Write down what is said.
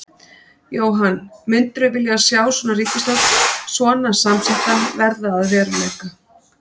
Jóhann: Myndirðu vilja sjá svona ríkisstjórn svona samsetta verða að veruleika?